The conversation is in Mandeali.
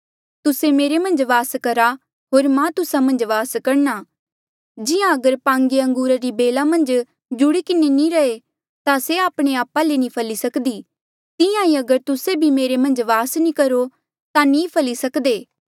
तुस्से मेरे मन्झ वास करहा होर मां तुस्सा मन्झ वास करणा जिहां अगर पांगे अंगूरा री बेला मन्झ जुड़ी किन्हें नी रहे ता से आपणे आपा ले नी फली सक्दी तिहां ईं अगर तुस्से भी मेरे मन्झ वास नी करो ता नी फली सक्दे